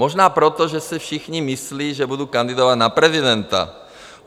Možná proto, že si všichni myslí, že budu kandidovat na prezidenta.